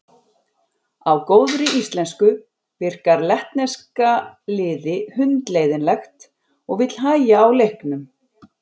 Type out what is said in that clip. Á góðri íslensku virkar lettneska liði hundleiðinlegt og vill hægja á leiknum.